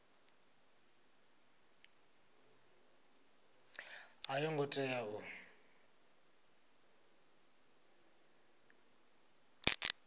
a yo ngo tea u